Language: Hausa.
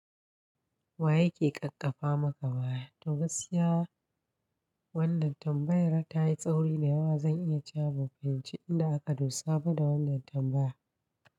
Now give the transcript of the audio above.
Wa yake ƙaƙƙafa maka waya? To gaskiya wannan tambayar ta yi tsauri da yawa. Zan iya ce abokai ban fahimci nda aka dosa ba da wannan tambaya.